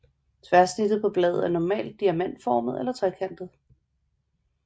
Tværsnittet på bladet er normalt diamantformet eller trekantet